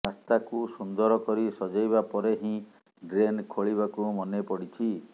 ରାସ୍ତାକୁ ସୁନ୍ଦର କରି ସଜେଇବା ପରେ ହିଁ ଡ୍ରେନ୍ ଖୋଳିବାକୁ ମନେ ପଡ଼ିଛି